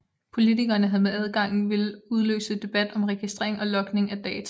Politikerne havde med adgangen ville udløse debat om registrering og logning af data